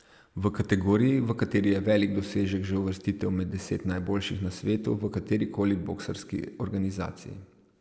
V kategoriji, v kateri je velik dosežek že uvrstitev med deset najboljših na svetu v katerikoli boksarski organizaciji.